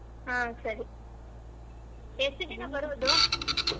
ಹ್ಮ್ ಸರಿ ಎಷ್ಟ್ ಜನಾ ಬರೋದು?